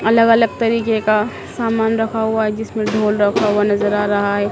अलग अलग तरीके का सामान रखा हुआ है जिसमें ढोल रखा हुआ नजर आ रहा है।